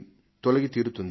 తొలగి తీరుతుంది